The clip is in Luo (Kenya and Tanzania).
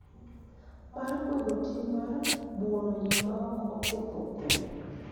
Mar kwedo tim mar buono ji maok oketho kwe,